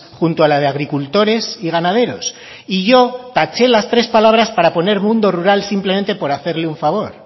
junto a la de agricultores y ganaderos y yo taché las tres palabras para poner mundo rural simplemente por hacerle un favor